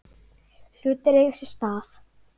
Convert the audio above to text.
Hlutir eiga sér stað.